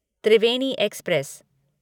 Triveni express